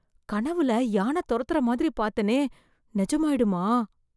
கனவுல யானை துரத்துற மாதிரி பார்த்தனே, நிஜமாயிடுமா?